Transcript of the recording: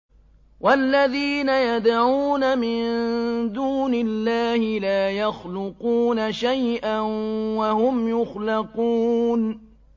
وَالَّذِينَ يَدْعُونَ مِن دُونِ اللَّهِ لَا يَخْلُقُونَ شَيْئًا وَهُمْ يُخْلَقُونَ